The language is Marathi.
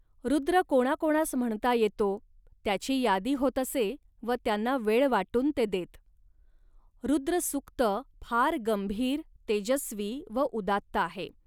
रुद्र कोणाकोणास म्हणता येतो, त्याची यादी होत असे व त्यांना वेळ वाटून ते देत. रुद्रसूक्त फार गंभीर, तेजस्वी व उदात्त आहे